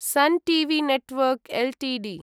sun TV network Ltd